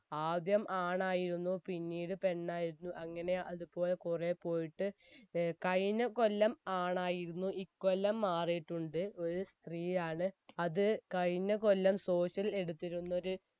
ആദ്യം ആണായിരുന്നു പിന്നീട് പെണ്ണായിരുന്നു അങ്ങനെ അത്പോലെ കുറെ പോയിട്ട് ഏർ കഴിഞ്ഞ കൊല്ലം ആണായിരുന്നു ഇക്കൊല്ലം മാറിയിട്ടുണ്ട് ഒരു സ്ത്രീയാണ് അത് കഴിഞ്ഞ കൊല്ലം social എടുത്തിരുന്ന ഒര്